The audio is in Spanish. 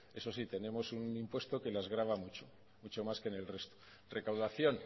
eso sí tenemos un impuesto que las grava mucho mucho más que en el resto recaudación